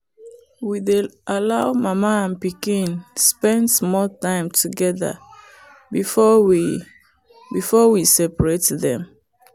we dey allow mama and pikin spend small time together before we before we separate dem.